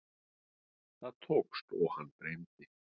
Það tókst og hann dreymdi.